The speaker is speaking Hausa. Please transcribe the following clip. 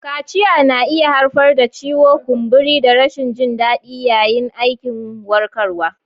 Kaciya na iya haifar da ciwo, kumburi, da rashin jin daɗi yayin aikin warkarwa.